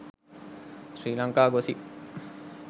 sri lanka gossip